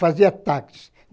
Fazia táxis.